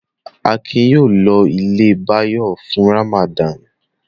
Akin yóò lọ ilé Báyọ̀ fún Ramadan.